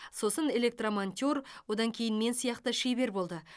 сосын электромонтер одан кейін мен сияқты шебер болды